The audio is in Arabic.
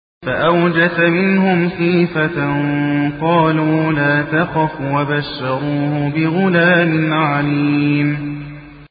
فَأَوْجَسَ مِنْهُمْ خِيفَةً ۖ قَالُوا لَا تَخَفْ ۖ وَبَشَّرُوهُ بِغُلَامٍ عَلِيمٍ